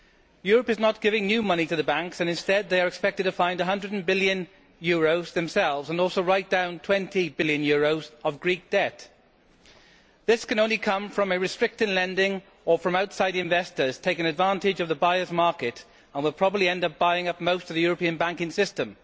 Europe is not giving new money to the banks, and instead they are expected to find EUR 100 billion themselves and also write down EUR 20 billion of Greek debt. This can only come from restricted lending or from outside investors taking advantage of the buyers' market and will probably end up buying up most of the European banking system.